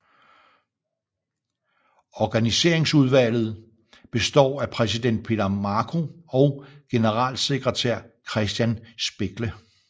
Organiseringsudvalget består af præsident Peter Marko og generalsekretær Christian Speckle